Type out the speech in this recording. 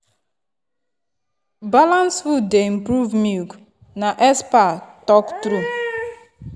balanced food dey improve milk na expert talk truth.